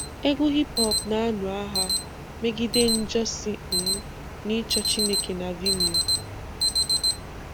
Egwu hip hop na-anu agha megide njọ si um na-ịchọ Chineke na Vimeo.